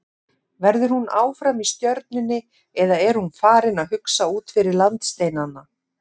Verður hún áfram í Stjörnunni eða er hún farin að hugsa út fyrir landsteinana?